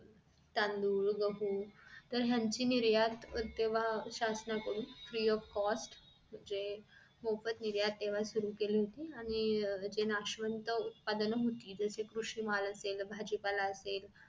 तांदूळ, गहू ह्यांची निर्यात तेंव्हा शासनाकडून free of cost म्हणजे मोफत निर्यात तेंव्हा सुरु केली होती आणि जे नाशवंत उत्पादन होती जस कृषी माल असेल भाजीपाला असेल